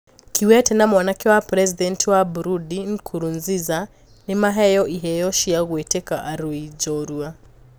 Kikwete na mwanake wa presidenti wa Burundi Nkurunziza nimaheywo iheo cia gutwika arui njorua.